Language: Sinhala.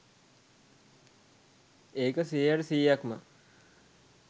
ඒක සීයට සීයක්ම